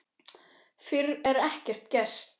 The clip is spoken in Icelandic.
Fyrr er ekkert gert.